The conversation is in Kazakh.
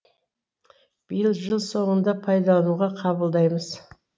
биыл жыл соңында пайдалануға қабылдаймыз